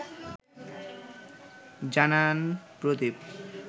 জানান প্রদীপ